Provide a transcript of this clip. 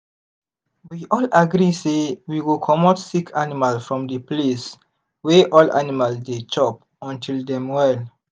we all agree say we go comot sick animal from the place wey all animal dey chop until dem well.